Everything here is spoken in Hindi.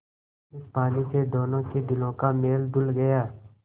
इस पानी से दोनों के दिलों का मैल धुल गया